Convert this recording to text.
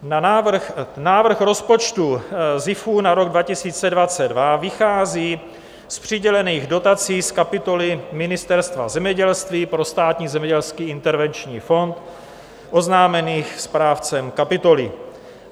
Návrh rozpočtu SZIF na rok 2022 vychází z přidělených dotací z kapitoly Ministerstva zemědělství pro Státní zemědělský intervenční fond oznámených správcem kapitoly.